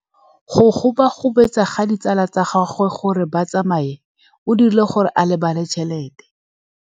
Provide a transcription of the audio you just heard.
Go gobagobetsa ga ditsala tsa gagwe, gore ba tsamaye go dirile gore a lebale tšhelete.